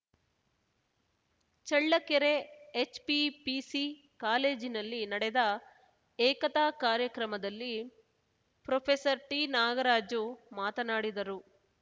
Challakere HPPC ಕಾಲೇಜಿನಲ್ಲಿ ನಡೆದ ಏಕತಾ ಕಾರ್ಯಕ್ರಮದಲ್ಲಿ ಪ್ರೊಫೆಸರ್ಟಿನಾಗರಾಜು ಮಾತನಾಡಿದರು